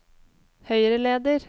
høyreleder